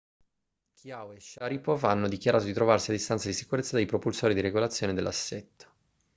chiao e sharipov hanno dichiarato di trovarsi a distanza di sicurezza dai propulsori di regolazione dell'assetto